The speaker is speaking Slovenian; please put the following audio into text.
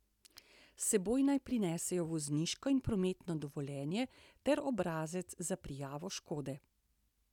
S seboj naj prinesejo vozniško in prometno dovoljenje ter obrazec za prijavo škode.